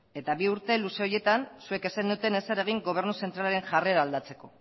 eta bi urte luze horietan zuek ez zenuten ezer egin gobernu zentralaren jarrera aldatzeko